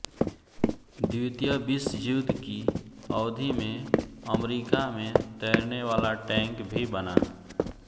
द्वितीय विश्वयुद्ध की अवधि में अमरीका में तैरनेवाला टैंक भी बना